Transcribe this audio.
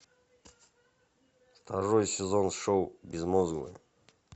второй сезон шоу безмозглые